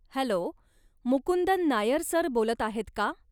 Hello! Mukundan Nair sir बोलत आहेत का?